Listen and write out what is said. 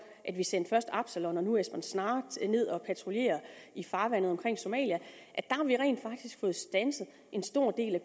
at vi sendte først absalon og nu esbern snare ned at patruljere i farvandet omkring somalia har vi rent faktisk fået standset en stor del af